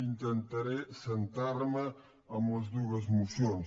intentaré centrar me en les dues mocions